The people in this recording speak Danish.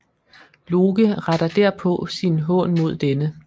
Loke retter derpå sin hån mod denne